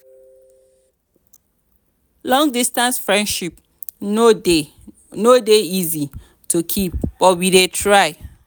long-distance friendship no dey no dey easy to keep but we dey try.